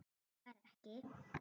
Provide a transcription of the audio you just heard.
Bankar ekki.